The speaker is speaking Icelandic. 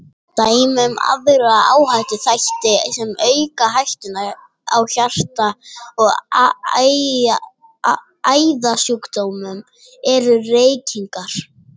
Dæmi um aðra áhættuþætti sem auka hættuna á hjarta- og æðasjúkdómum eru: Reykingar.